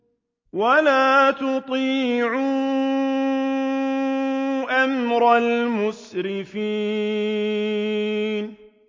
وَلَا تُطِيعُوا أَمْرَ الْمُسْرِفِينَ